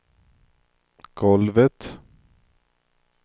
golvet